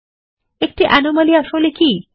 একটি অ্যানোমালি আসলে কি